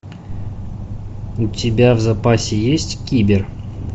у тебя в запасе есть кибер